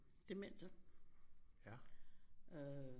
Demente øh